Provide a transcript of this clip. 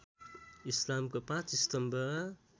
इस्लामको ५ स्तम्भ